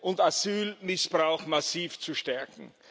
und Asylmissbrauch massiv zu stärken.